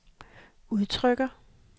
udtrykker